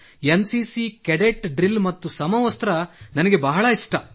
N C C cadet drill ಮತ್ತು ಸಮವಸ್ತ್ರ ನನಗೆ ಬಹಳ ಇಷ್ಟ